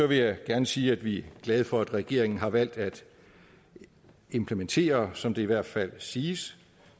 vil jeg gerne sige at vi er glade for at regeringen har valgt at implementere som det i hvert fald siges